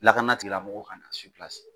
Lakana tigɛ mɔgɔw ka na